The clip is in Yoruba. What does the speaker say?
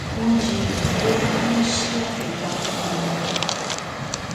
wọn jiyàn bóyá kí wọn ṣí apò pamọ ara wọn